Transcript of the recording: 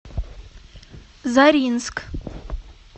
заринск